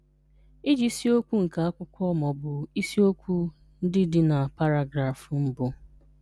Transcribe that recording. Ịji isiokwu nke akwụkwọ ma ọ bụ isi okwu ndị dị na paragrafị mbụ.